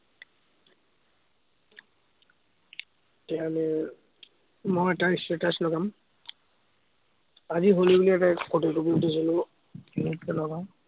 এতিয়া আমি মই এটাই status লগাম। আজি হলি বুলি এটা ফটো কপি উঠিছিলো, এতিয়া লগাম